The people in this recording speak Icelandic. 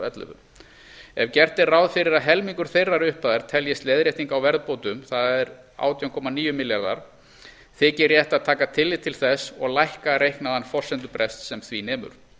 ellefu ef gert er ráð fyrir að helmingur þeirrar upphæðar teljist leiðrétting á verðbótum það er átján komma níu baka þykir rétt að taka tillit til þess og lækka reiknaðan forsendubrest sem því nemur